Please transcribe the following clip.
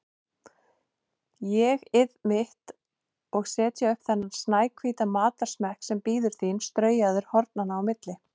ÉG-ið mitt, og setja upp þennan snæhvíta matarsmekk sem bíður þín straujaður hornanna á milli.